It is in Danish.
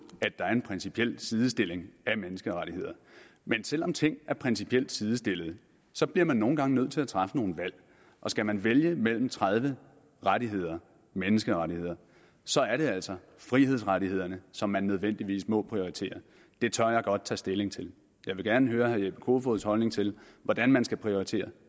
at der er en principiel sidestilling af menneskerettigheder men selv om ting er principielt sidestillet så bliver man nogle gange nødt til at træffe nogle valg og skal man vælge mellem tredive rettigheder menneskerettigheder så er det altså frihedsrettighederne som man nødvendigvis må prioritere det tør jeg godt tage stilling til jeg vil gerne høre herre jeppe kofods holdning til hvordan man skal prioritere